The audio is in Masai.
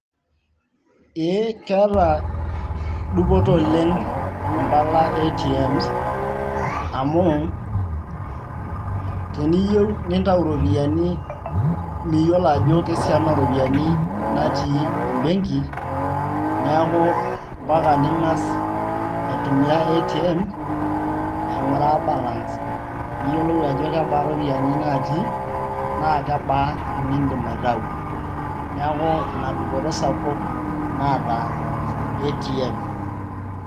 Eeeh keeta dupoto oleng mpala e ATM, amu teniyieu nintayu irropiyiani miyiolo ajo kesiana oo rropiyiani natii ebenki, niaku mpaka ning`as aitumia ATM aing`uraa balance. Pee iyiolou ajo kebaa irropiyiani natiinaa kebaa inidim aitayu niaku ina dupoto sapuk naata ATM.